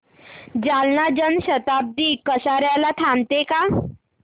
जालना जन शताब्दी कसार्याला थांबते का